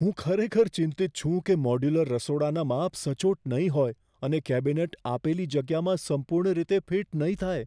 હું ખરેખર ચિંતિત છું કે મોડ્યુલર રસોડાના માપ સચોટ નહીં હોય અને કેબિનેટ આપેલી જગ્યામાં સંપૂર્ણ રીતે ફિટ નહીં થાય.